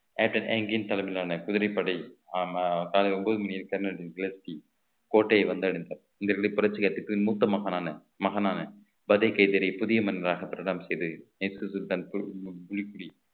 தலைமையிலான குதிரைப்படை ஆமா காலை ஒன்பது மணியில் கெர்னலின் கோட்டையை வந்தடைந்தார் இந்தக்கலை புரட்சியாட்டுக்கு மூத்த மகனான மகனான புதிய மனிதராக பிரதானம் செய்து இயேசு சுல்தான் பு~ புலி